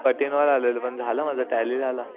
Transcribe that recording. पाठीमागे आलेलो पण झाला माझा टॅली झाला.